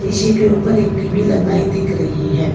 इसी के ऊपर एक टी_वी लगाए दिख रही है।